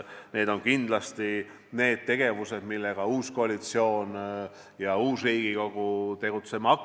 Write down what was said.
Need on kindlasti need tegevused, millega uus koalitsioon ja uus Riigikogu tegelema hakkavad.